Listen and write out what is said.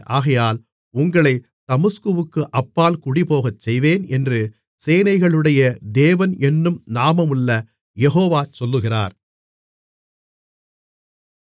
ஆகையால் உங்களைத் தமஸ்குவுக்கு அப்பால் குடிபோகச்செய்வேன் என்று சேனைகளுடைய தேவன் என்னும் நாமமுள்ள யெகோவா சொல்லுகிறார்